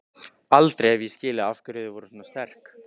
Aldrei hef ég skilið af hverju þau voru svona sterk.